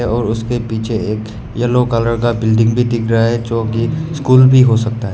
और उसके पीछे एक येलो कलर का बिल्डिंग भी दिख रहा है जोकि स्कूल भी हो सकता है।